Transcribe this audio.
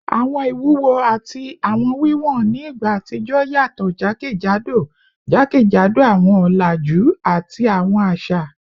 Awọn iwuwo ati awọn wiwọn ni igba atijọ yatọ jakejado jakejado awọn ọlaju ati awọn aṣa